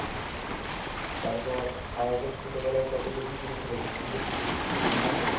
তারপর আমরা তো ছোটবেলায় কত লুকোচুরি খেলেছি লুকোচুরি মনে আছে?